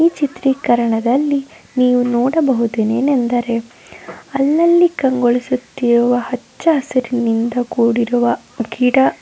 ಈ ಚಿತ್ರೀಕರಣದಲ್ಲಿ ನಿವು ನೋಡಬಹುದು ಏನೆಂದರೆ ಅಲ್ಲಲ್ಲಿ ಕಂಗೊಳಿಸುತ್ತಿರುವ ಹುಚ್ಚಾಸುರನಿಂದ ಕೂಡಿರುವ ಗಿಡ--